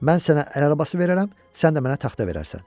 Mən sənə əl arabası verərəm, sən də mənə taxta verərsən.